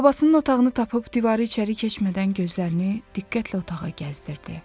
Babasının otağını tapıb divarı çəri keçmədən gözlərini diqqətlə otağa gəzdirdi.